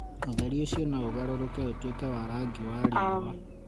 ũtheri ũcio no ũgarũrũke ũtuĩke wa rangi wa riũa